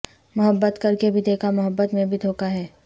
محبت کرکے بھی دیکھا محبت میں بھی دھوکا ہے